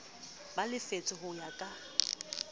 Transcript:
ba lefshwe ho ya ka